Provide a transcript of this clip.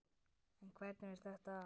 En hvernig fer þetta fram?